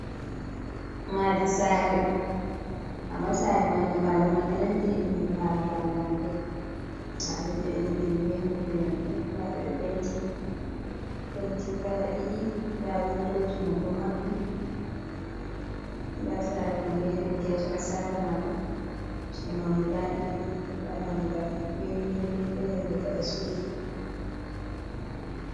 Maadi saare amma saare man nyiɓalo ɗo nandi iri nyi ɓalu lamlamɓe nda ɗum ɓe nyiɓi ɗum be noppi noppi nda penti kala ɗiɗi, nda windoji man ɗo maɓɓi nda saare man be leddi ha caka sare majum, ci’e man guda ɗiɗi nda dammugal be windo pepe gadasudu.